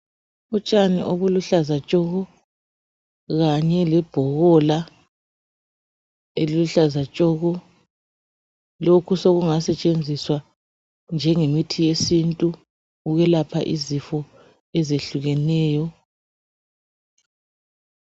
Utshani obuluhlaza tshoko lanye lebhobola eliluhlaza tshoko. Lokhu sokungasetshenziswa njengemithi yesintu ukwelapha izifo ezehlukeneyo.